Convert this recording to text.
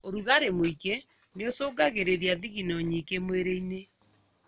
ũrugarĩ mũingĩ nĩũcũngagĩrĩria thigino nyingĩ mwĩrĩ-inĩ